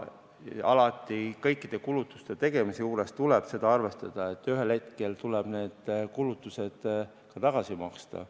Alati tuleb kõikide kulutuste tegemise juures arvestada seda, et ühel hetkel tuleb need kulutused ka tagasi maksta.